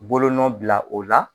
Bolonɔ bila o la